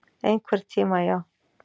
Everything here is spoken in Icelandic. Einhvern tíma, já.